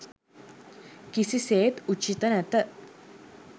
කිසිසේත් උචිත නැත.